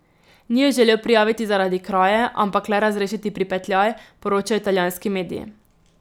Ni ju želel prijaviti zaradi kraje, ampak le razrešiti pripetljaj, poročajo italijanski mediji.